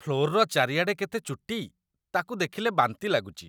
Floor ଚାରିଆଡ଼େ କେତେ ଚୁଟି! ତା'କୁ ଦେଖିଲେ ବାନ୍ତି ଲାଗୁଚି ।